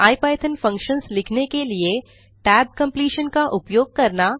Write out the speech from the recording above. IPython functions लिखने के लिए tab completion का उपयोग करना